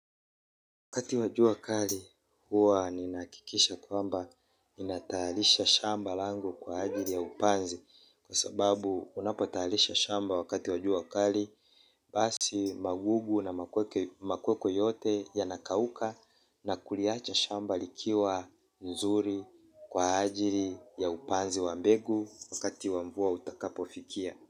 Wakati wa jua kali huwa ninahakikisha kwamba ni natayarisha shamba lango kwa ajili ya upanzi, kwa sababu unapotayarisha shamba wakati wa jua kali basi magugu na makweko yote yanakauka na kuliacha shamba likiwa nzuri kwa ajili ya upanzi wa mbegu wakati wa mvua utakapofikia.